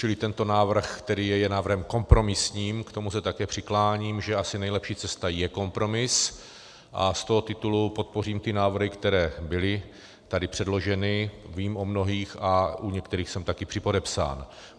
Čili tento návrh, které je návrhem kompromisním, k tomu se také přikláním, že asi nejlepší cesta je kompromis, a z toho titulu podpořím ty návrhy, které byly tady předloženy, vím o mnohých a u některých jsem taky připodepsán.